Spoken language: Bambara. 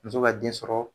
Muso ka den sɔrɔ